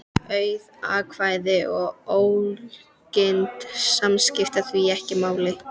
Auð atkvæði og ógild skipta því ekki máli.